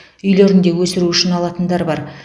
үйлерінде өсіру үшін алатындар бар